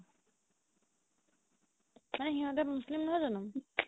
মানে সিহতে মোচলিম নহয় জানো